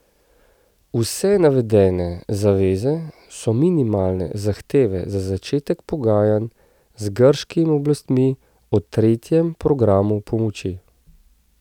Vse navedene zaveze so minimalne zahteve za začetek pogajanj z grškimi oblastmi o tretjem programu pomoči.